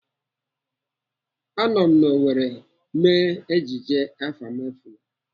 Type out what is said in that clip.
Anọ n'Owerri mee ejije Afamefuna.